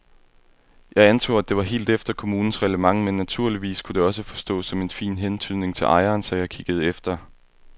Jeg antog, at det var helt efter kommunens reglement men naturligvis kunne det også forstås som en fin hentydning til ejeren, så jeg kiggede efter.